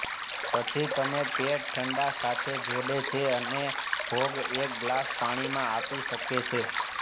પછી તમે પેટ ઠંડા સાથે જોડે છે અને ભોગ એક ગ્લાસ પાણીમાં આપી શકે છે